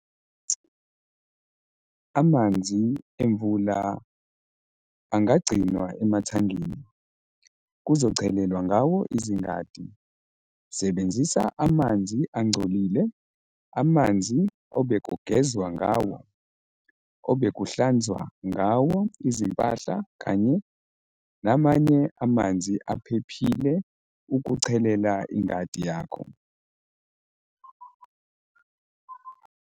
Amanzi emvula angagcinwa emathangini, kuzochelelwa ngawo izingadi. Sebenzisa "amanzi angcolile"- amanzi obekugezwa ngawo, obekuhlanzwa ngawo izimpahla kanye namanye amanzi aphephile ukuchelela ingadi yakho.